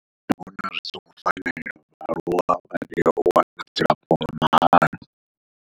Ndi vhona zwi songo fanela uri vhaaluwa vha tea u wana dzilafho nga mahala.